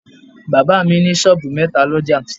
Bàbá mi ní sọ́ọ̀bù metaa l'ọ́jà